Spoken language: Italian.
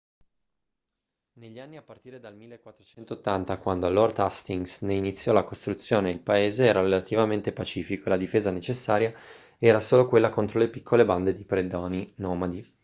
negli anni a partire dal 1480 quando lord hastings ne iniziò la costruzione il paese era relativamente pacifico e la difesa necessaria era solo quella contro le piccole bande di predoni nomadi